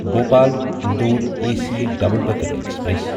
Bhopal Indore A C double decker express